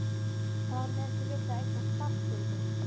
Var hún ef til vill að eignast barn fyrir þau?